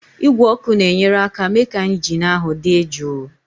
Igwe ọkụ na-enyere aka mee ka injin ahụ dị jụụ.